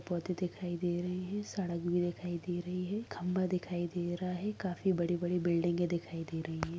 पौधे दिखाई दे रहे हैं सड़क भी दिखाई दे रही है खंबा दिखाई दे रहा है काफी बड़ी-बड़ी बिल्डिंग दिखाई दे रही है।